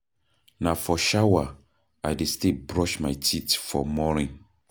Na for shower I dey stay brush my teeth for morning.